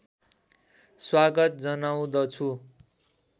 स्वागत जनाउँदछु